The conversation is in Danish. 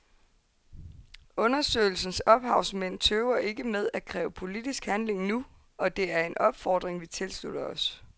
Undersøgelsens ophavsmænd tøver ikke med at kræve politisk handling nu, og det er en opfordring vi tilslutter os.